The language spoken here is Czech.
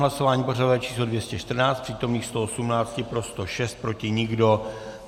Hlasování pořadové číslo 214, přítomných 118, pro 106, proti nikdo.